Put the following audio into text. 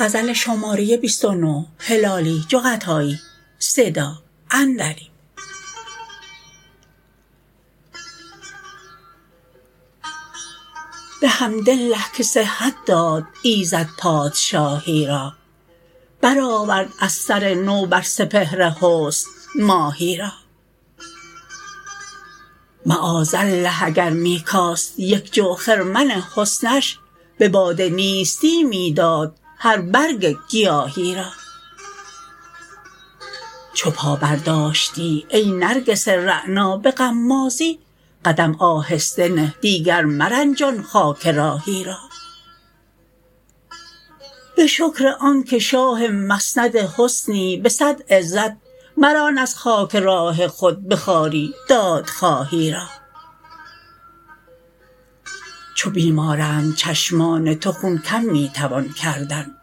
بحمدالله که صحت داد ایزد پادشاهی را برآورد از سر نو بر سپهر حسن ماهی را معاذالله اگر می کاست یک جو خرمن حسنش بباد نیستی می داد هر برگ گیاهی را چو پا برداشتی ای نرگس رعنا بغمازی قدم آهسته نه دیگر مرنجان خاک راهی را بشکر آنکه شاه مسند حسنی بصد عزت مران از خاک راه خود بخواری دادخواهی را چو بیمارند چشمان تو خون کم می توان کردن